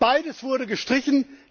Beides wurde gestrichen.